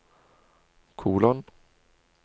kolon